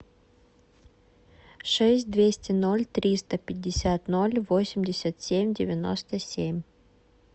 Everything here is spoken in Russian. шесть двести ноль триста пятьдесят ноль восемьдесят семь девяносто семь